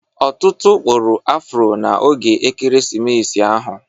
Ọtụtụ kpụrụ afro na oge Ekeresimesi ahụ.